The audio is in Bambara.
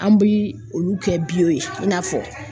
An bi olu kɛ ye i n'a fɔ